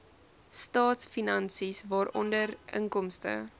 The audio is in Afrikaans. staatsfinansies waaronder inkomste